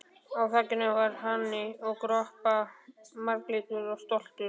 Á á þakinu var hani að kroppa, marglitur og stoltur.